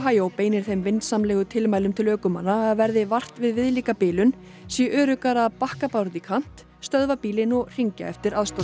Ohio beinir þeim vinsamlegu tilmælum til ökumanna að verði vart við viðlíka bilun sé öruggara að bakka bara út í kant stöðva bílinn og hringja eftir aðstoð